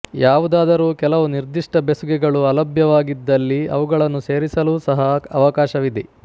ಯಾವುದಾದರೂ ಕೆಲವು ನಿರ್ದಿಷ್ಟ ಬೆಸುಗೆಗಳು ಅಲಭ್ಯವಾಗಿದ್ದಲ್ಲಿ ಅವುಗಳನ್ನು ಸೇರಿಸಲೂ ಸಹ ಅವಕಾಶವಿದೆ